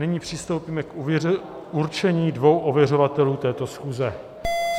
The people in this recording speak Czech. Nyní přistoupíme k určení dvou ověřovatelů této schůze.